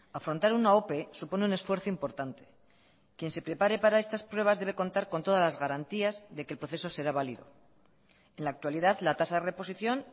afrontar una ope supone un esfuerzo importante quien se prepare para estas pruebas debe contar con todas las garantías de que el proceso será valido en la actualidad la tasa de reposición